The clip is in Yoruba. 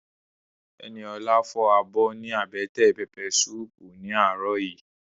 Ẹniolá fọ abọ́ ní àbẹ́tẹ̀ pẹpẹ suupu ní àárọ̀ yìí